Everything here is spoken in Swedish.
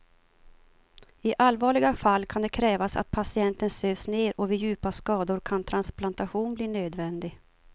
I allvarliga fall kan det krävas att patienten sövs ner och vid djupa skador kan transplantation bli nödvändig.